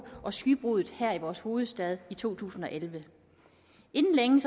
og skybruddet her i vores hovedstad i to tusind og elleve inden længe